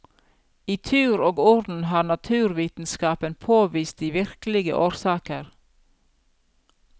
I tur og orden har naturvitenskapen påvist de virkelige årsaker.